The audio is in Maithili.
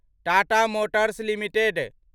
Tata motors limited